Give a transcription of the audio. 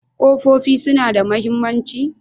Ko ƙofofin suna da mahimmanci?